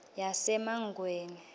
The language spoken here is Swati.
yasemangweni